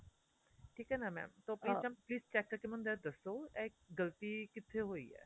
ਠੀਕ ਏ ਨਾ mam so please mam please check ਕ਼ਰ ਕੇ ਮੈਂਨੂ ਜ਼ਰਾ ਦੱਸੋ ਇਹ ਗਲਤੀ ਕਿੱਥੇ ਹੋਈ ਏ